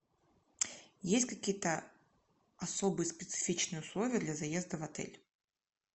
есть какие то особые специфичные условия для заезда в отель